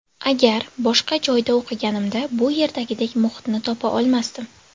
Agar boshqa joyda o‘qiganimda, bu yerdagidek muhitni topa olmasdim.